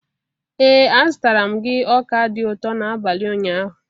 Ee a zụtara m gị ọka dị ụtọ n'abalị ụnyaahụ.